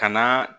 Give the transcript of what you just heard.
Ka na